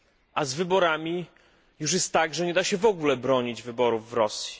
A z wyborami jest już tak, że nie da się w ogóle bronić wyborów w Rosji.